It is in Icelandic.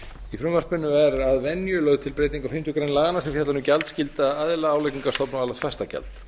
í frumvarpinu er að venju lögð til breyting á fimmtu grein laganna sem fjallar um gjaldskylda aðila álagningarstofna og árlegt fastagjald